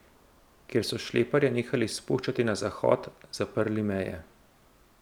Ker so šleperje nehali spuščati na Zahod, zaprli meje.